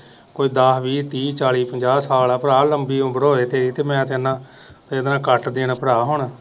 ਕੋਈ ਦਾਸ ਵੀਹ ਤਿਹ ਚਾਲੀ ਪੰਜਾਹ ਸਾਲ ਆ ਭਰਾ ਲੰਬੀ ਉਮਰ ਹੋਵੇ ਤੇਰੀ ਤੇ ਮੈਂ ਤੇ ਭਰਾ ਹੁਣ।